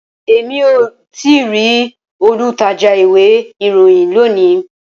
Rara, Emi ko tii ri olutaja iwe iroyin loni.